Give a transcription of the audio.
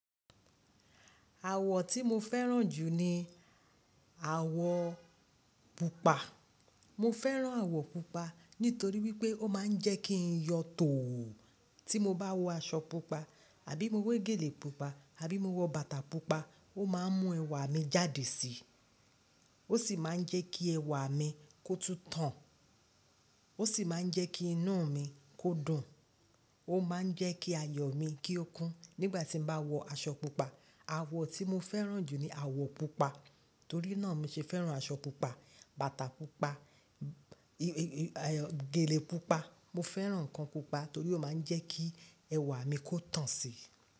Àwọ̀ tí mo fẹ́ràn jù ni àwọ̀ pupa. Mo fẹ́ràn àwọ̀ pupa nítorí wípé ó máa ń jẹ́ kí n yọ tòò. Tí mo bá wọ aṣọ pupa àbí mo wé gèlè pupa àbí mo wọ bàtà pupa, ó máa ń mú ẹwà mi jáde si. Ó sì máa ń jẹ́ kí ẹwà mi kó tún tàn, ó sì máa ń jẹ́ kí inú mi kó dùn. Ó máa ń jẹ́ kí ayọ̀ mi kí ó kún nígbà tí n bá wọ aṣọ pupa. Àwọ̀ tí mo fẹ́ràn jù ni àwọ̀ pupa. Torí náà mo ṣe fẹ́ràn aṣọ pupa, bàtà pupa, gèlè pupa. Mo fẹ́ràn ǹkan pupa torí ó máa ń jẹ́ kí ẹwà mi kó tàn si.